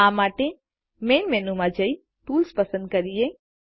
આ માટે મૈન મેનુમાં જઈ ટૂલ્સ પસંદ કરીએ